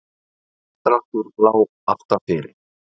Samdráttur lá alltaf fyrir